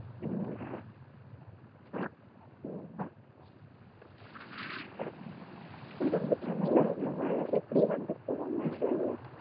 ம் சென்னைல ரொம்ப மழை எப்டி வந்து போவாங்க தெரியல